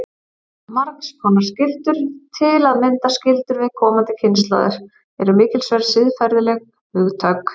Margs konar skyldur, til að mynda skyldur við komandi kynslóðir, eru mikilsverð siðferðileg hugtök.